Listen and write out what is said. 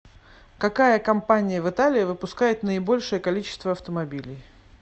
какая компания в италии выпускает наибольшее количество автомобилей